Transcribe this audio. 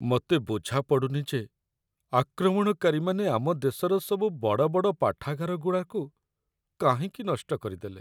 ମତେ ବୁଝାପଡ଼ୁନି ଯେ ଆକ୍ରମଣକାରୀମାନେ ଆମ ଦେଶର ସବୁ ବଡ଼ବଡ଼ ପାଠାଗାରଗୁଡ଼ାକୁ କାହିଁକି ନଷ୍ଟ କରିଦେଲେ ।